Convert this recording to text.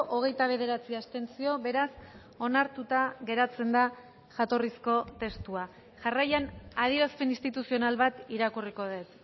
hogeita bederatzi abstentzio beraz onartuta geratzen da jatorrizko testua jarraian adierazpen instituzional bat irakurriko dut